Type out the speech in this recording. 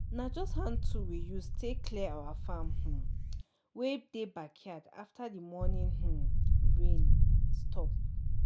na just hand tool we use tay clear our farm um wey dey backyard after the morning um rain stop